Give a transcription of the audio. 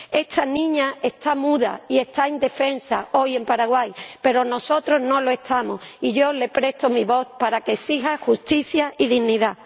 Esta niña está muda y está indefensa hoy en Paraguay, pero nosotros no lo estamos y yo le presto mi voz para que exija justicia y dignidad.